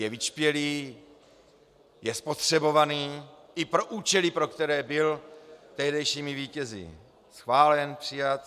Je vyčpělý, je spotřebovaný i pro účely, pro které byl tehdejšími vítězi schválen, přijat.